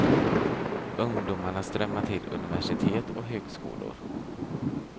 Ungdomarna strömmar till universitet och högskolor.